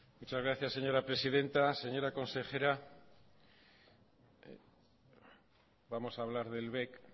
muchas gracias señora presidenta señora consejera vamos a hablar del bec